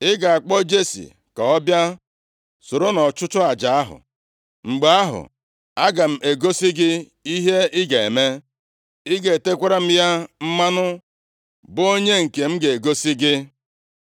Ị ga-akpọ Jesi ka ọ bịa soro nʼọchụchụ aja ahụ. Mgbe ahụ, aga m egosi gị ihe ị ga-eme. Ị ga-etekwara m ya mmanụ, bụ onye m nke ga-egosi gị.”